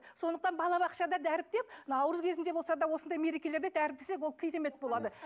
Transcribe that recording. сондықтан бала бақшада дәріптеп наурыз кезінде болса да осындай мерекелерде дәріптесек ол керемет болады